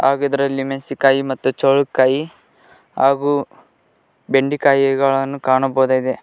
ಹಾಗೂ ಇದರಲ್ಲಿ ಮೆಸಿನಕಾಯಿ ಮತ್ತು ಚೌಳಿಕಾಯಿ ಹಾಗೂ ಬೆಂಡಿಕಾಯಿಗಳನ್ನು ಕಾಣಬಹುದಾಗಿದೆ.